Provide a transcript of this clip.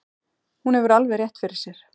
Hún hefur alveg rétt fyrir sér.